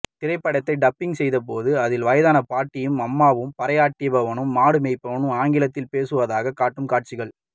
திரைப்படத்தை டப்பிங் செய்திருக்கும்போது அதில் வயதான பாட்டியும் அம்மாவும் பறையடிப்பவனும் மாடு மேய்ப்பவனும் ஆங்கிலத்தில் பேசுவதாகக் காட்டும் காட்சிகள்